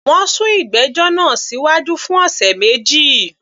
Wọ́n sún ìgbẹ́jọ́ náà síwájú fún ọ̀sẹ̀ méjì